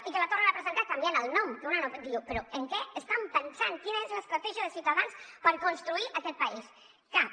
i que la tornen a presentar canviant ne el nom que una diu però en què estan pensant quina és l’estratègia de ciutadans per construir aquest país cap